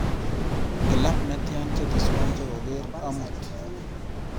Kilab netya cheteswa chegogeer amut